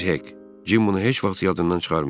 Əziz Hek, Cim bunu heç vaxt yadından çıxarmayacaq.